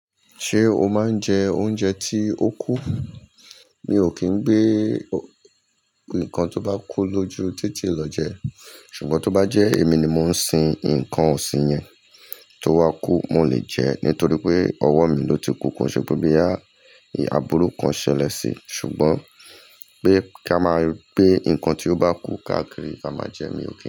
Ṣé o máa ń jẹ oúnjẹ tí ó kú? Mi ò kín ń gbé nǹkan tó bá kú lójú títí lọ jẹ ṣùgbọ́n tó bá jẹ́ èmi ni mò ń sin nǹkan òsìn yẹn tó wá kú, mo lè jẹ ẹ́ nítorí pé ọwọ́ mi ló ti kú kó. Ṣùgbọ́n bí aburú kan ṣẹlẹ̀ sí i ṣùgbọ́n pé ká máa gbé nǹkan tí ó bá kú ká kiri, ka máa jẹ ẹ́, mi ò kí n jẹ ẹ́